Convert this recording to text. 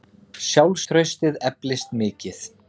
Sjálfstraustið eflist mikið.